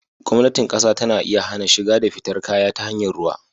Gwamnatin ƙasa tana iya hana shiga da fitar kaya ta hanyar ruwa.